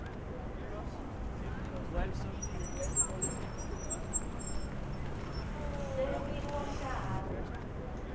hleriw xa ha ri na